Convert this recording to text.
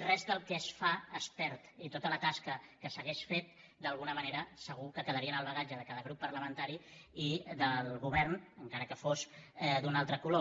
res del que es fa es perd i tota la tasca que s’hagués fet d’alguna manera segur que quedaria en el bagatge de cada grup parlamentari i del govern encara que fos d’un altre color